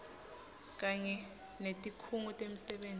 kanye netikhungo temisebenti